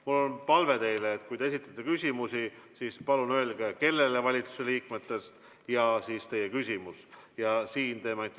Mul on teile palve: kui te esitate küsimuse, siis palun öelge kõigepealt, kellele valitsusliikmetest küsimus suunatud on, ja siis esitage küsimus.